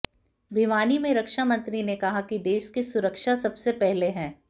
भिवानी में रक्षामंत्री ने कहा कि देश की सुरक्षा सबसे पहले है